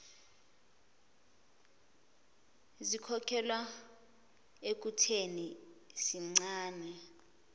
zikholelwa ekutheni sincane